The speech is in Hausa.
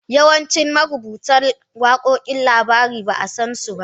Yawancin marubutan wakokin labarin ba a san su ba.